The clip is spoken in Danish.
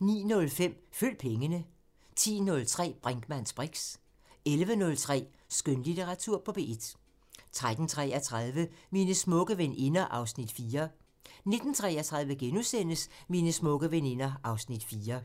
09:05: Følg pengene 10:03: Brinkmanns briks 11:03: Skønlitteratur på P1 13:33: Mine smukke veninder (Afs. 4) 19:33: Mine smukke veninder (Afs. 4)*